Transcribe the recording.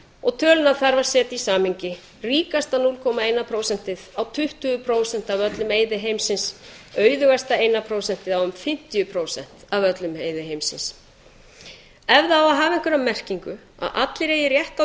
og stöðuna þarf að setja í samhengi ríkasta núll komma eitt prósentið á tuttugu prósent af öllum auði heimsins auðugasta eitt prósent á fimmtíu prósent af öllum auði heimsins ef það á að hafa einhverja merkingu að allir eigi rétt á